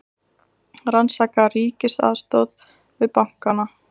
Rannsaka ríkisaðstoð við bankana